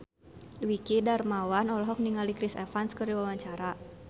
Dwiki Darmawan olohok ningali Chris Evans keur diwawancara